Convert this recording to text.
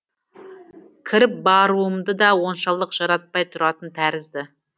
кіріп баруымды да оншалық жаратпай тұратын тәрізді